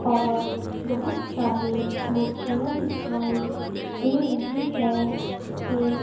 और बहुत सारे मूर्तियां दिखाई दे रही है एक--